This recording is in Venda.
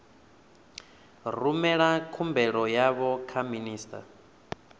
rumela khumbelo yavho kha minista